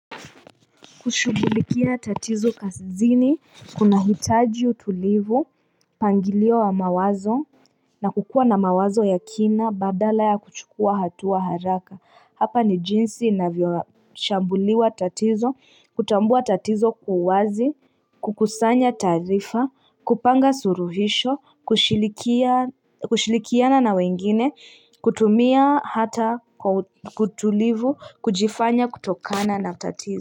Kushughulikia tatizo kazini, kuna hitaji utulivu, mpangilio wa mawazo, na kukuwa na mawazo ya kina, badala ya kuchukua hatua haraka. Hapa ni jinsi inavyo shambuliwa tatizo, kutambua tatizo kwa uwazi, kukusanya taarifa, kupanga suluhisho, kushirikiana na wengine, kutumia hata kutulivu, kujifanya kutokana na tatizo.